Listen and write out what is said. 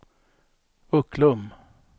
Ucklum